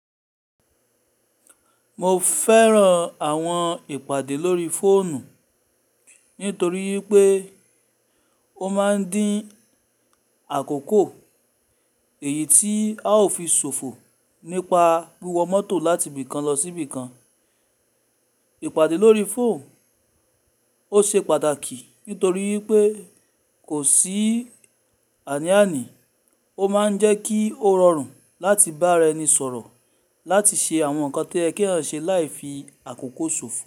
Mo fẹ́ran àwọn ìpàdé lórí fóònù nítorí pé ó máa ń dín àkókò, èyí tí a ó fi sòfò nípa wíwọ mọ́tò láti bí kan lọ sí bí kan. Ìpàdé lórí fóònù ó ṣe pàtàkì nítorí pé kò sí àní-àní, ó máa ń jẹ́ kí ó rọrùn láti bá rẹni sọ̀rọ̀ láti ṣe àwọn nǹkan tí ẹ kí ń ṣe láì fi àkókò sòfò.